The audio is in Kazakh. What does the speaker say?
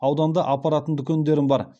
ауданда апаратын дүкендерім бар